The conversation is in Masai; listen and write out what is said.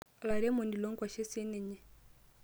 Olairemoni loonkwashen ninye.